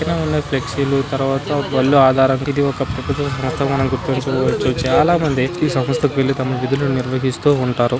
పక్కనే ఉన్న ఫ్లెక్సి లు తరువాత బళ్ళు ఆధారానికి. ఇది ఒక మనం గుర్తించవచ్చు. చాలా మంది ఈ సంస్థకు వెళ్లి తమ విధులను నిర్వహిస్తూ లంటారు.